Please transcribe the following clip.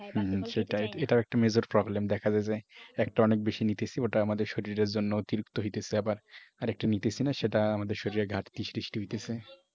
এটা একটা major problem দেখা যায় যে একটা অনেক বেশি নিতেছি আমাদের শরীরের জন্য অতিরিক্ত হইতেছে আবার আর একটা নিতেছি না সেটা আমাদের শরীরের ঘাটতি সৃষ্টি হইতেছে।